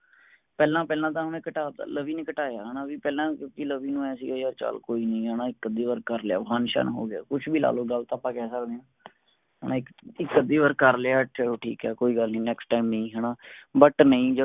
ਪਹਿਲਾਂ ਪਹਿਲਾਂ ਤਾ ਮੈਂ ਘਟਾ ਤਾ ਲਵੀ ਨੇ ਘਟਾਇਆ ਹੈਨਾ ਬੀ ਪਹਿਲਾਂ ਲਵੀ ਨੂੰ ਐਂ ਸੀਗਾ ਯਾਰ ਚੱਲ ਕੋਇਨੀ ਹੈਨਾ ਇੱਕ ਅਧਿ ਵਾਰ ਕਰਲਿਆ ਫਨ ਸ਼ਨ ਹੋਗਿਆ ਕੁਸ਼ ਵੀ ਲਾਲੋ ਗ਼ਲਤ ਆਪਾਂ ਕਹਿ ਸਕਦੇ ਆ ਹੁਣ ਇਕ ਅੱਧੀ ਵਾਰ ਕਰਲਿਆ ਚਲੋ ਠੀਕ ਹੈ ਕੋਈ ਗੱਲ ਨੀ next time ਨੀ ਹੈਨਾ but ਨਹੀਂ ਜਦੋਂ